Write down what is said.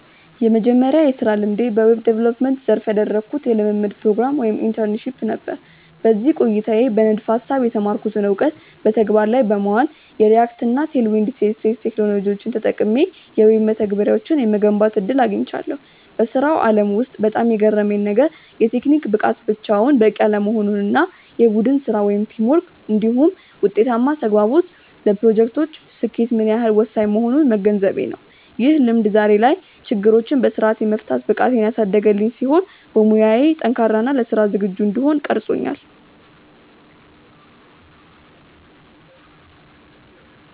የመጀመሪያው የሥራ ልምዴ በዌብ ዲቨሎፕመንት (Web Development) ዘርፍ ያደረግኩት የልምምድ ፕሮግራም (Internship) ነበር። በዚህ ቆይታዬ በንድፈ-ሐሳብ የተማርኩትን እውቀት በተግባር ላይ በማዋል፣ የReact እና Tailwind CSS ቴክኖሎጂዎችን ተጠቅሜ የዌብ መተግበሪያዎችን የመገንባት ዕድል አግኝቻለሁ። በሥራው ዓለም ውስጥ በጣም የገረመኝ ነገር፣ የቴክኒክ ብቃት ብቻውን በቂ አለመሆኑ እና የቡድን ሥራ (Teamwork) እንዲሁም ውጤታማ ተግባቦት ለፕሮጀክቶች ስኬት ምን ያህል ወሳኝ እንደሆኑ መገንዘቤ ነው። ይህ ልምድ ዛሬ ላይ ችግሮችን በሥርዓት የመፍታት ብቃቴን ያሳደገልኝ ሲሆን፣ በሙያዬ ጠንካራ እና ለሥራ ዝግጁ እንድሆን ቀርጾኛል።